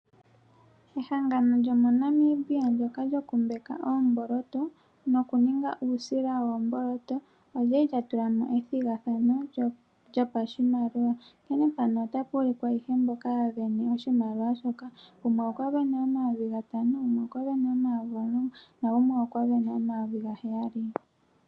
Ehangano lyomoNamibia, ndyoka lyokumbaka oomboloto, nokuninga uusila woomboloto olya li lya tula mo ethigathano lyopashimaliwa. Onkene mpano otapu ulike mboka ya sindana oshimaliwa shoka. Gumwe okwa sindana omayovi gatano, gumwe omayovi omulongo, nagumwe okwa sindana omayovi gaheyali.